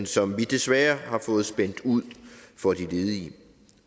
som vi desværre har fået spændt ud for de ledige